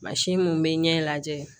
mun be ɲɛ lajɛ